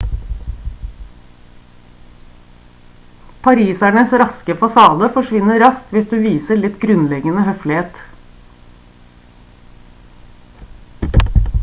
parisernes raske fasade forsvinner raskt hvis du viser litt grunnleggende høflighet